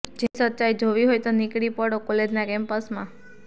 જેની સચ્ચાઈ જોવી હોય તો નીકળી પડો કોલેજના કેમ્પસમાં